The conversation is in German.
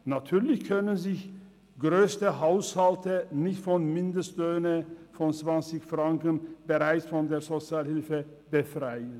Natürlich können sich grösste Haushalte nicht bereits mit Mindestlöhnen von 20 Franken von der Sozialhilfe befreien.